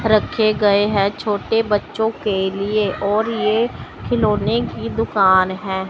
रखे गए हैं छोटे बच्चों के लिए और ये खिलौने की दुकान है।